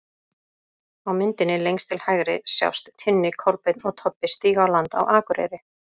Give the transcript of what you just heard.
Á myndinni lengst til hægri sjást Tinni, Kolbeinn og Tobbi stíga á land á Akureyri.